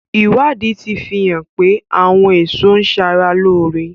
Ìwádìí tí fi hàn pé àwọn èso ń ṣara lóore.